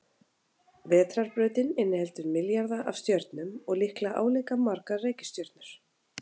Vetrarbrautin inniheldur milljarða af stjörnum og líklega álíka margar reikistjörnur.